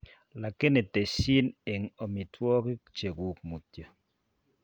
Lakini tesyin eng' omitwogik chekuk mutyo